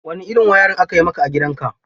Wane irin wayarin aka yi maka a gidanka?